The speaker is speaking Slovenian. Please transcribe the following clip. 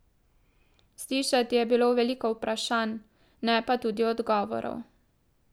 Slišati je bilo veliko vprašanj, ne pa tudi odgovorov.